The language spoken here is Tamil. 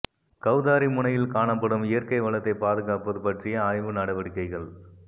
கௌதாரி முனையில் காணப்படும் இயற்கை வளத்தை பாதுகாப்பது பற்றிய ஆய்வு நடவடிக்கைகள்